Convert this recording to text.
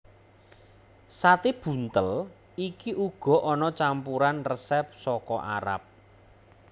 Sate buntel iki uga ana campuran resep saka Arab